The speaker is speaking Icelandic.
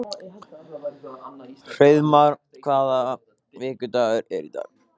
Hreiðmar, hvaða vikudagur er í dag?